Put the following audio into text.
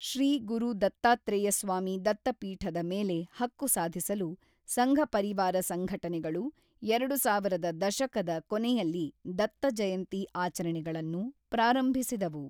ಶ್ರೀ ಗುರು ದತ್ತಾತ್ರೇಯ ಸ್ವಾಮಿ ದತ್ತಪೀಠದ ಮೇಲೆ ಹಕ್ಕು ಸಾಧಿಸಲು ಸಂಘ ಪರಿವಾರ ಸಂಘಟನೆಗಳು ಎರಡು ಸಾವಿರ ರ ದಶಕದ ಕೊನೆಯಲ್ಲಿ ದತ್ತ ಜಯಂತಿ ಆಚರಣೆಗಳನ್ನು ಪ್ರಾರಂಭಿಸಿದವು.